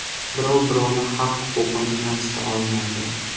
Birov-birovni haq-huquqini kamsita olmaydi.